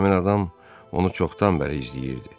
Həmin adam onu çoxdan bəri izləyirdi.